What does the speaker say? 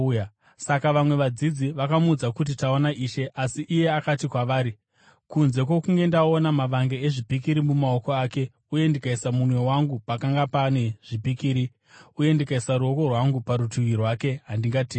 Saka vamwe vadzidzi vakamuudza kuti, “Taona Ishe!” Asi iye akati kwavari, “Kunze kwokunge ndaona mavanga ezvipikiri mumaoko ake uye ndikaisa munwe wangu pakanga pane zvipikiri, uye ndikaisa ruoko rwangu parutivi rwake, handingatendi.”